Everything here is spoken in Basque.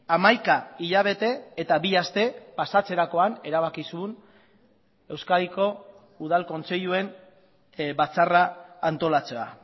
hamaika hilabete eta bi aste pasatzerakoan erabaki zuen euskadiko udal kontseiluen batzarra antolatzea